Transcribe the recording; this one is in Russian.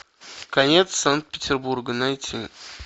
конец санкт петербурга найти